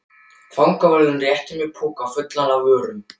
Fangavörðurinn rétti mér poka fullan af vörum.